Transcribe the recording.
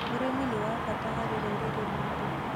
ũrĩmi nĩ wa bata mũno harĩ rũrĩrĩ rwitũ.